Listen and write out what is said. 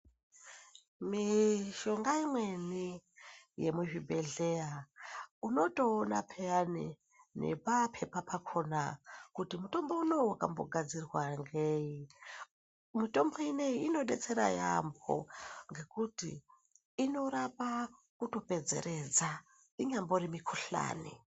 Mishonga imweni yemuzvibhedhlera unotoona peyani ngepapepa pakhona kuti mutombo unowu wakambogadzirwa ngeyi. Mitombo ineyi inodetsera yaamho ngekuti inorapa kutopedzeredza inyambori mikhuhlani.